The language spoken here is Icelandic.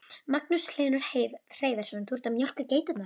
Magnús Hlynur Hreiðarsson: Þú ert að mjólka geiturnar?